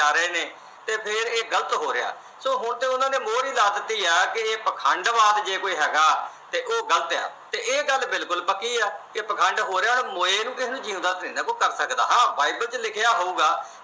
ਤੇ ਫਿਰ ਇਹ ਗਲਤ ਹੋ ਰਿਹਾ। so ਹੁਣ ਤਾਂ ਉਹਨਾਂ ਨੇ ਮੋਹਰ ਈ ਲਾ ਦਿੱਤੀ ਆ ਕਿ ਇਹ ਪਾਖੰਡਵਾਦ ਜੇ ਕੋਈ ਹੈਗਾ ਤੇ ਉਹ ਗਲਤ ਆ ਤੇ ਇਹ ਗੱਲ ਬਿਲਕੁਲ ਪੱਕੀ ਆ ਕਿ ਪਾਖੰਡ ਹੋ ਰਿਹਾ ਤੇ ਮੋਏ ਨੂੰ ਕੋਈ ਜਿੰਦਾ ਤਾਂ ਨਹੀਂ ਕਰ ਸਕਦਾ। Bible ਚ ਲਿਖਿਆ ਹੋਊਗਾ